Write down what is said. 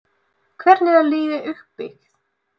Hvernig er liðið uppbyggt?